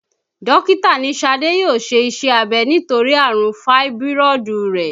Dókítà ní Ṣadé yóò ṣe iṣẹ́ abẹ nítorí àrùn fáíbírọ̀dù rẹ̀